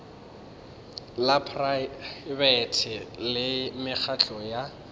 la praebete le mekgatlo ya